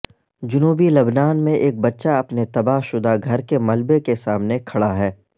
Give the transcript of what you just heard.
جنوبی لبنان میں ایک بچہ اپنے تباہ شدہ گھر کے ملبے کے سامنے کھڑا ہے